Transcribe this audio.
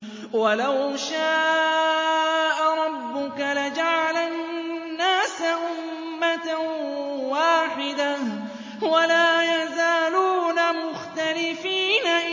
وَلَوْ شَاءَ رَبُّكَ لَجَعَلَ النَّاسَ أُمَّةً وَاحِدَةً ۖ وَلَا يَزَالُونَ مُخْتَلِفِينَ